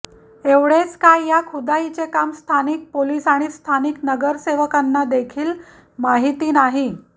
एवढेच काय या खुदाईच काम स्थानिक पोलीस आणि स्थानिक नगरसेवकांना देखील माहिती नाही